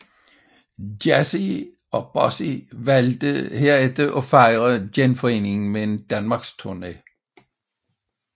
Jazzy og Bossy valgte herefter at fejre genforeningen med en danmarks tourné